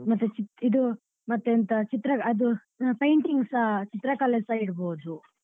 ಮತ್ತೆ ಇದು ಮತ್ತೆ ಎಂತ ಚಿತ್ರ ಅದು painting ಸ ಚಿತ್ರಕಲೆಸ ಇಡ್ಬೋದು.